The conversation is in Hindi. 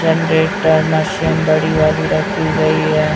मशीन बड़ी वाली रखी गई है।